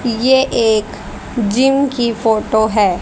ये एक जिम की फोटो है।